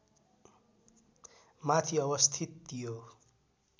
माथि अवस्थित यो